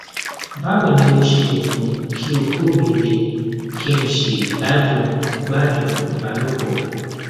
báwo ni mo ṣe lè mú kí oko mi le kí n sì gbádùn gbádùn ìbálòpọ